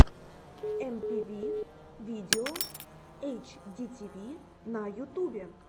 эмпиви видео эйчдитиви на ютубе